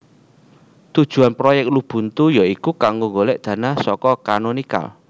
Tujuwan proyek Lubuntu ya iku kanggo golek dana saka Canonical